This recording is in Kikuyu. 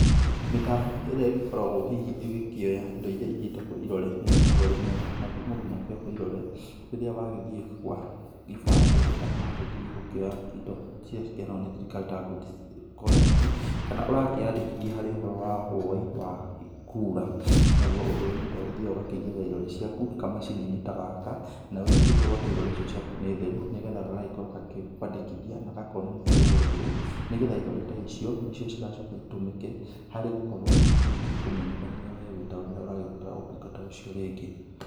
Mĩtambo ĩrĩa ĩgĩkoragwo hihi ĩgĩkĩoya indo iria igĩtagwo irore nĩ ĩgĩkoragwo ĩrĩ mĩega, naguo mũndũ nĩ akĩoyagwo irore rĩrĩa wagĩthiĩ gwa ibandĩ kana wagĩthiĩ gũkĩoya indo iria ikĩheangawo nĩ thirikari ta good conduct kana ũrakĩyandĩkithia harĩ ũhoro wa woi wa kura, naguo ũndũ ũyũ mũndũ agĩthiaga ũgakĩigĩrĩra irore ciaku kamacini-inĩ ta gaka, naguo ũgagĩkorwo atĩ irore icio nĩ theru, nĩgetha gagagĩkorwo gagĩkwandĩkithia na gakonania we ũrĩ ũũ, nĩgetha irore ta icio nĩcio cigacoka itũmĩke harĩ gũkorwo hihi igĩkũmenyithania we ũrĩ ta ũũ rĩrĩa ũragĩbatara ũtungata ũcio rĩngĩ.